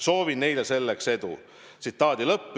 Soovin neile selles edu.